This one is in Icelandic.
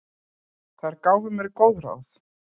Þær gáfu mér mörg góð ráð.